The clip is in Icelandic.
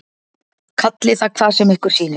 Kallið það hvað sem ykkur sýnist.